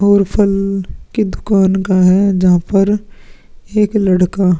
और फल की दुकान का है जहां पर एक लड़का --